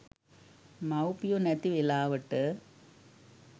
මව්පියො නැති වේලාවට